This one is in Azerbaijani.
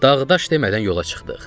Dağ-daş demədən yola çıxdıq.